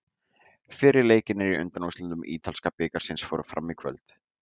Fyrri leikirnir í undanúrslitum ítalska bikarsins fóru fram í kvöld.